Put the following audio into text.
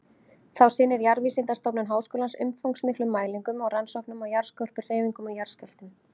Þá sinnir Jarðvísindastofnun Háskólans umfangsmiklum mælingum og rannsóknum á jarðskorpuhreyfingum og jarðskjálftum.